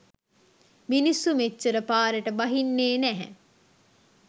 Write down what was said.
මිනිස්සු මෙච්චර පාරට බහින්නේ නැහැ.